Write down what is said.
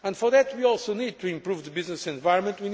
For that we also need to improve the business environment.